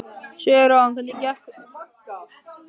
Sigurjón, hvernig kemst ég þangað?